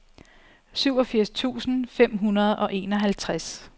syvogfirs tusind fem hundrede og enoghalvtreds